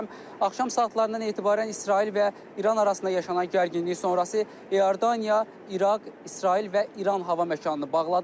Axşam saatlarından etibarən İsrail və İran arasında yaşanan gərginlik sonrası İordaniya, İraq, İsrail və İran hava məkanını bağladı.